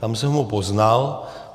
Tam jsem ho poznal.